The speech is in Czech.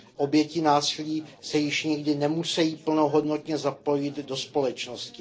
Oběti násilí se již nikdy nemusí plnohodnotně zapojit do společnosti.